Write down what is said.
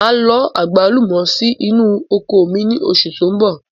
Máa lọ àgbálùmọ̀ sì inú oko mi ni oṣù tó ń bọ̀.